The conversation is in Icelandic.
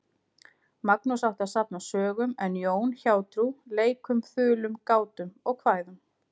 Magnús átti að safna sögum en Jón hjátrú, leikum, þulum, gátum og kvæðum.